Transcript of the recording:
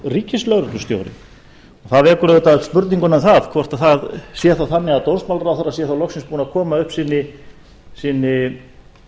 ríkislögreglustjóri það vekur auðvitað spurninguna um það hvort það sé þá þannig að dómsmálaráðherra sé þá loksins búinn að koma upp sinni